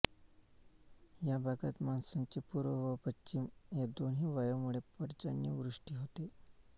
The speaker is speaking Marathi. या भागात मान्सूनचे पूर्व व पश्चिम या दोन्ही वायांमूळे पर्जन्यवृष्टी होते